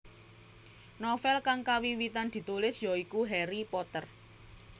Novel kang kawiwitan ditulis ya iku Harry Potter